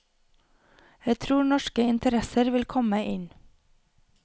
Jeg tror norske interesser vil komme inn.